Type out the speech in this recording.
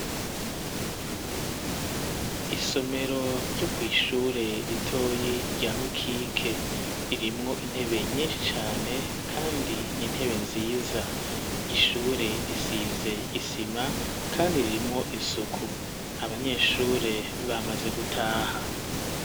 Isomero ryo kw'ishure ritoyi rya Mukike ririmwo intebe nyishi cane kandi n' intebe nziza ishure risize isima kandi ririmwo isuku abanyeshure bamaze gutaha